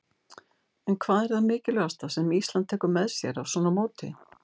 En hvað er það mikilvægasta sem Ísland tekur með sér af svona móti?